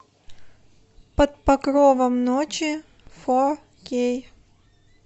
под покровом ночи фо кей